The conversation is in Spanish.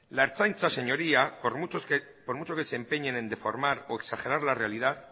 la ertzaintza señoría por mucho que se empeñen en deformar o exagerar la realidad